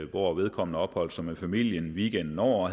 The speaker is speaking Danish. hvor vedkommende opholdt sig med familien weekenden over og